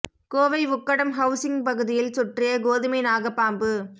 Kovai Ukkadam housing பகுதியில் சுற்றிய கோதுமை நாக பாம்பு